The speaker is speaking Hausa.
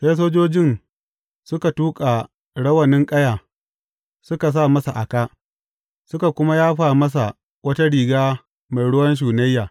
Sai sojojin suka tuƙa rawanin ƙaya suka sa masa a kā, suka kuma yafa masa wata riga mai ruwan shunayya.